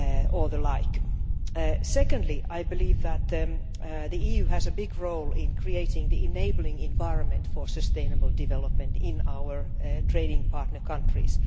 or the like. Secondly, I believe that the EU has a big role in creating the enabling the environment for sustainable development in our trading partner countries.